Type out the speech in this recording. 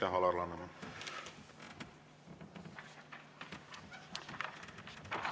Aitäh, Alar Laneman!